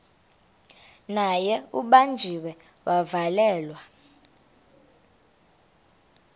naye ubanjiwe wavalelwa